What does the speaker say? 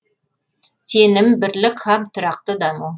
сенім бірлік һәм тұрақты даму